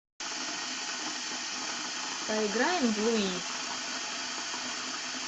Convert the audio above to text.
поиграем в луи